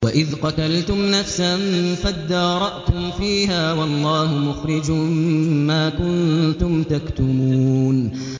وَإِذْ قَتَلْتُمْ نَفْسًا فَادَّارَأْتُمْ فِيهَا ۖ وَاللَّهُ مُخْرِجٌ مَّا كُنتُمْ تَكْتُمُونَ